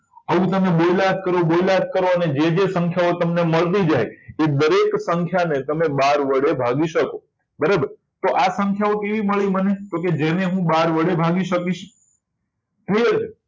તમે બોલ્યા જ કરો બોલ્યા જ કરો અને જેવી તમને સંખ્યા મળતી જાય એ દરેક સંખ્યાને તમે બાર વડે ભાગી શકો બરાબર તો આ સંખ્યાઓ કેવી મળી મળે તો કે જેને હું બાર વડે ભાગી શકું જોઈ